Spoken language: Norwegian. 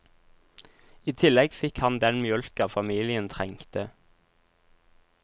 I tillegg fikk han den mjølka familien trengte.